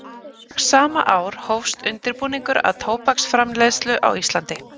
Strax sama ár hófst undirbúningur að tóbaksframleiðslu á Íslandi.